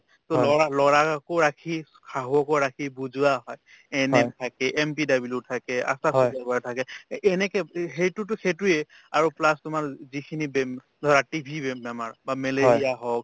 to লৰা লৰাকো ৰাখি শাহুয়োক ৰাখি বুজোৱা হয় ANM থাকে MPW থাকে আশাতো labor থাকে এহ্ এনেকে প্ৰি সেইটোতো সেইটোয়ে আৰু plus তোমাৰ যিখিনি বেম্ ধৰা TB বেমাৰ বা মেলেৰিয়া হওক